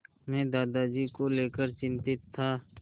मैं दादाजी को लेकर चिंतित था